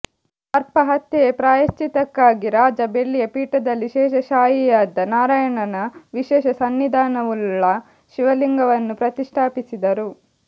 ಸರ್ಪ ಹತ್ಯೆಯ ಪ್ರಾಯಶ್ಚಿತಕ್ಕಾಗಿ ರಾಜ ಬೆಳ್ಳಿಯ ಪೀಠದಲ್ಲಿ ಶೇಷಶಾಯಿಯಾದ ನಾರಾಯಣನ ವಿಶೇಷ ಸನ್ನಿಧಾನವುಳ್ಳ ಶಿವಲಿಂಗವನ್ನು ಪ್ರತಿಷ್ಠಾಪಿಸಿದರು